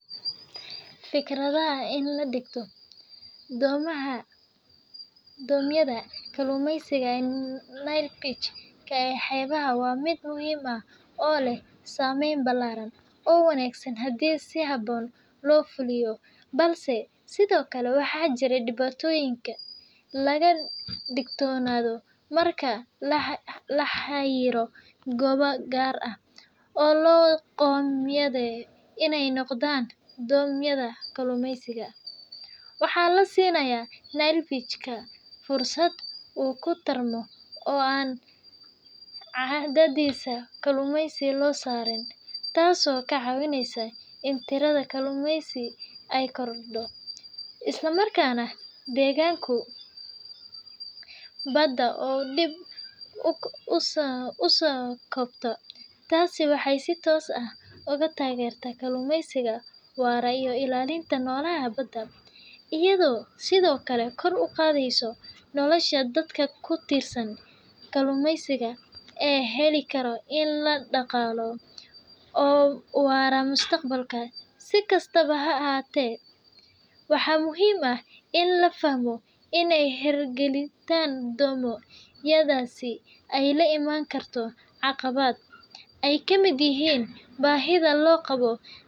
Fikradda ah in la dhigo domyada kalluumaysiga ee Nayl bachka ee xeebaha waa mid muhiim ah oo leh saameyn ballaaran oo wanaagsan haddii si habboon loo fuliyo, balse sidoo kale waxaa jira dhibaatooyin laga digtoonaado. Marka la xayiro goobo gaar ah oo loo qoondeeyo inay noqdaan dome-yada kalluumaysiga, waxaa la siinayaa Nile perch-ka fursad uu ku tarmo oo aan cadaadis kalluumaysi la saarin, taasoo ka caawinaysa in tirada kalluunkaasi ay kordho, isla markaana deegaanka badda uu dib u soo kabto. Taasi waxay si toos ah u taageertaa kalluumaysiga waara iyo ilaalinta noolaha badda, iyadoo sidoo kale kor u qaadaysa nolosha dadka ku tiirsan kalluumaysiga oo heli kara ilo dhaqaale oo waara mustaqbalka. Si kastaba ha ahaatee, waxaa muhiim ah in la fahmo in hirgelinta domyadaasi ay la imaan karto caqabado ay ka mid yihiin baahida loo qabo.